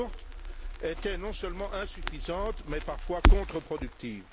De Gucht, étaient non seulement insuffisantes mais parfois contreproductives.